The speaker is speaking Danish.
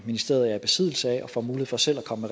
ministeriet er i besiddelse af og får mulighed for selv at komme